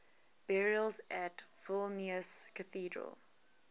burials at vilnius cathedral